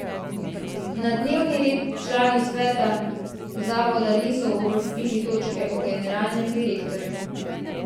Na dnevni red člani sveta zavoda niso uvrstili točke o generalnem direktorju.